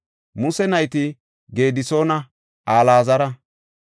Muse nayti Gedisoona Alaazara.